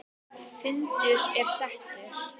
Fundur er settur!